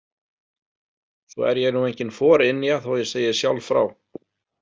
Svo er ég nú engin forynja þó ég segi sjálf frá.